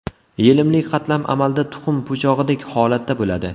Yelimli qatlam amalda tuxum po‘chog‘idek holatda bo‘ladi.